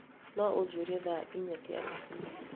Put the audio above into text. No ũnjĩĩre thaa inya cia rũciũ.